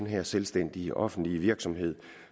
her selvstændige offentlige virksomhed